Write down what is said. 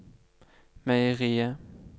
meieriet